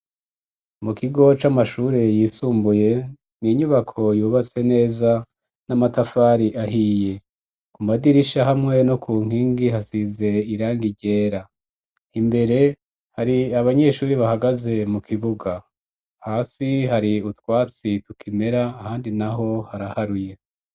Mu kigo c'amashuri yisumbuye ni inyubako yubatse neza n'amatafari ahiye ku madirisha hamwe no ku nkingi hasize irang igera imbere hari abanyeshuri bahagaze mu kibuga hasi hari utwatsi tukimera ahandi naho haraharuye.